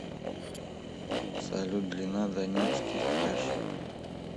салют длина донецкий кряж